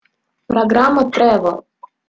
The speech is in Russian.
программа трэвел